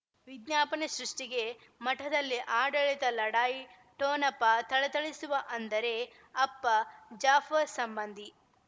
ವಿಜ್ಞಾಪನೆ ಸೃಷ್ಟಿಗೆ ಮಠದಲ್ಲಿ ಆಡಳಿತ ಲಢಾಯಿ ಠೊಣಪ ಥಳಥಳಿಸುವ ಅಂದರೆ ಅಪ್ಪ ಜಾಫರ್ ಸಂಬಂಧಿ